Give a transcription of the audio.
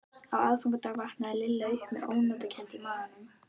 Á aðfangadag vaknaði Lilla upp með ónotakennd í maganum.